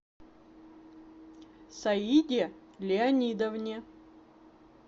саиде леонидовне